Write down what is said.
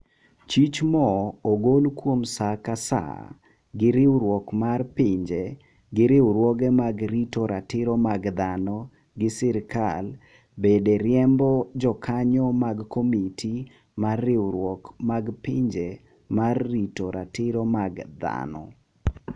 Chich mo ogol kuom saa ka saa gi riwriuok mar pinje gi riwruoge mag rito ratiro mag dhano gi serikal bede riembo jokanyo mag komiti mar riwruok mag pinje mar rito ratiro mag dhano